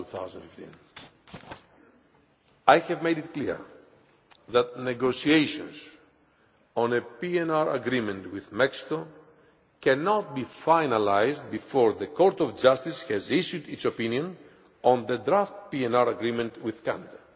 2015. I have made it clear that negotiations on a PNR agreement with Mexico cannot be finalised before the Court of Justice has issued its opinion on the draft PNR agreement with Canada.